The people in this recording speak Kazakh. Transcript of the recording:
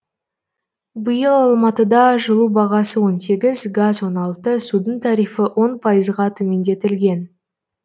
айта кетейік биыл алматыда жылу бағасы он сегіз газ он алты судың тарифі он пайызға төмендетілген